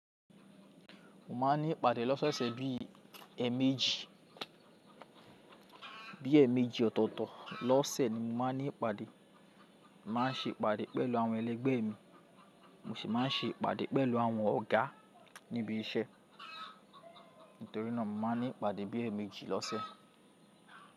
Mo máa ń ní ìpàdé lọ́soosẹ̀ bí ẹ̀mejì, bí ẹ̀mejì ọ̀tọ̀tọ̀ lọ́sẹ̀ ni mo máa ń ní ìpàdé. Mo máa ń ṣe ìpàdé pẹ̀lú àwọn ẹlẹgbẹ́ mi, mo sì máa ń ṣe ìpàdé pẹ̀lú àwọn ọ̀gá níbi iṣẹ́. Nítorí náà mo máa ń ní ìpàdé bí ẹ̀mejì lọ́sẹ̀.